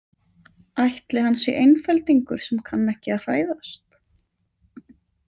Ætli hann sé einfeldingur sem kann ekki að hræðast?